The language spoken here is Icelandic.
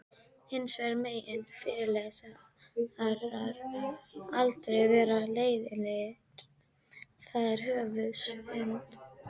Hins vegar megi fyrirlesarar aldrei vera leiðinlegir, það sé höfuðsynd.